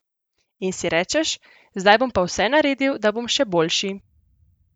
In si rečeš: 'zdaj bom pa vse naredil, da bom še boljši'.